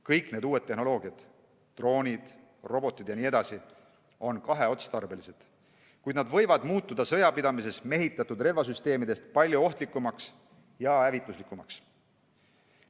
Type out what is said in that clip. Kõik need uued tehnoloogiad, droonid, robotid jne on kahe otstarbega, kuid need võivad muutuda sõjapidamises mehitatud relvasüsteemidest palju ohtlikumaks ja hävituslikumaks.